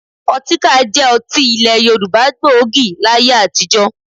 Ọtíkà jẹ́ ọtí ilẹ̀ Yorùbá gbòógì láyé àtijọ́